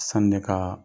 Sani ne ka